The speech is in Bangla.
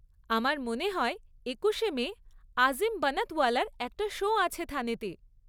আমার মনে হয় একুশে মে আজিম বানাতওয়ালার একটা শো আছে থানেতে।